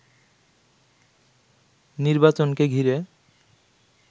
নির্বাচনকে ঘিরে